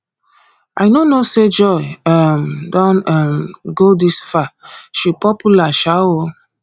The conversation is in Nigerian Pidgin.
i no know say joy um don um go dis far she popular um oo